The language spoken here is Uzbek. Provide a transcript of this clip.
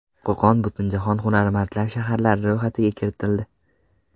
Qo‘qon Butunjahon hunarmandlar shaharlari ro‘yxatiga kiritildi.